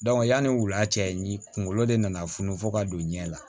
yanni wula cɛ ni kunkolo de nana funu fo ka don ɲɛ la